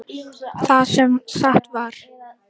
Það sem sagt var